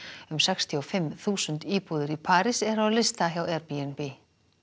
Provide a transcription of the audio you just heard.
um sextíu og fimm þúsund íbúðir í París eru á lista hjá Airbnb